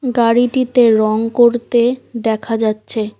গাড়িটিতে রং করতে দেখা যাচ্ছে।